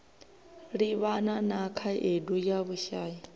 livhana na khaedu ya vhushai